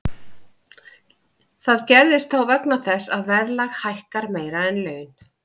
Það gerist þá vegna þess að verðlag hækkar meira en laun.